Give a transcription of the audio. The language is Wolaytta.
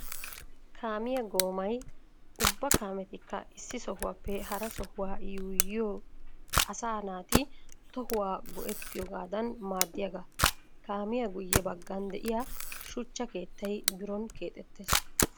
Kaamiya goomay ubba kaametikka issi sohuwaappe hara sohuwa yuuyiyo asaa naati tohuwa go'ettiyogadan maadiyaaga. Kaamiya guye bagan de'iya shuchchay keettay biron keexxettees.